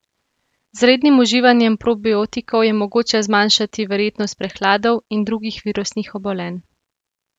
Z rednim uživanjem probiotikov je mogoče zmanjšati verjetnost prehladov in drugih virusnih obolenj.